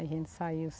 A gente saiu.